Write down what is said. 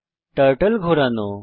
turtle ঘোরানো